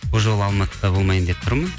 бұл жылы алматыда болмайын деп тұрмын